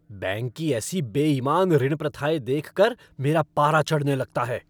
Bank की ऐसी बेइमान ऋण प्रथाएँ देख कर मेरा पारा चढ़ने लगता है।